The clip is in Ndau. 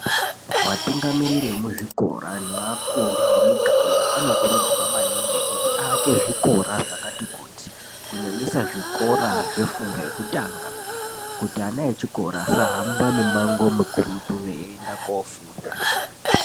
Vatungamiriri vemuzvikora neakuru emiganga anokurudzirwa maningi kuti aake zvikora zvakati kuti kunyanisa zvikora zvefundo yetanga kuti ana echikora asahamba mimango mikurutu eienda kofunda